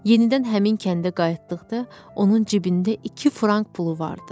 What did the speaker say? Yenidən həmin kəndə qayıtdıqda onun cibində iki frank pulu vardı.